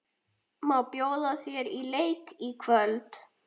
Má ég bjóða þér í bíó í kvöld?